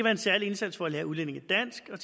en særlig indsats for at lære udlændinge dansk og